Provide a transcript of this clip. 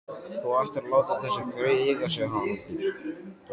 Þú ættir að láta þessi grey eiga sig, Haraldur